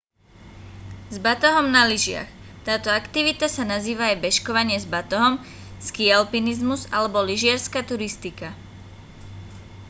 s batohom na lyžiach táto aktivita sa nazýva aj bežkovanie s batohom skialpinizmus alebo lyžiarska turistika